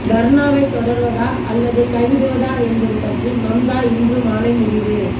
தர்னாவை தொடர்வதா அல்லது கைவிடுவதா என்பது பற்றி மம்தா இன்று மாலை முடிவு